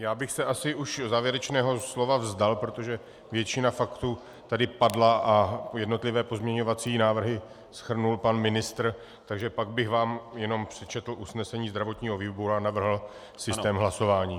Já bych se asi už závěrečného slova vzdal, protože většina faktů tady padla a jednotlivé pozměňovací návrhy shrnul pan ministr, takže pak bych vám jenom přečetl usnesení zdravotního výboru a navrhl systém hlasování.